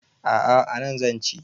A a anan zan ci.